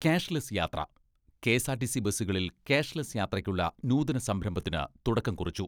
cashless യാത്ര, KSRTC ബസ്സുകളിൽ cashless യാത്രയ്ക്കുള്ള നൂതന സംരംഭത്തിന് തുടക്കം കുറിച്ചു